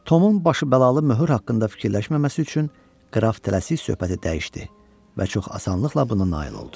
Tomun başı bəzalı möhür haqqında fikirləşməməsi üçün qraf tələsik söhbəti dəyişdi və çox asanlıqla buna nail oldu.